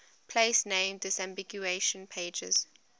place name disambiguation pages